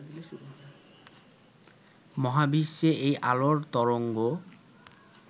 মহাবিশ্বে এই আলোর তরঙ্গ